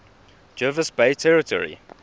jervis bay territory